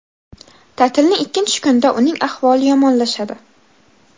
Ta’tilning ikkinchi kunida uning ahvoli yomonlashadi.